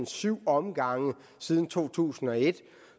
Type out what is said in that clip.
syv omgange siden to tusind og et